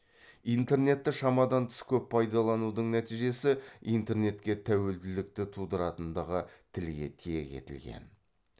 интернетті шамадан тыс көп пайдаланудың нәтижесі интернетке тәуелділікті тудыратындығы тілге тиек етілген